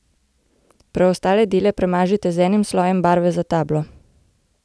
Preostale dele premažite z enim slojem barve za tablo.